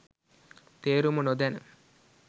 තේරුම නොදැන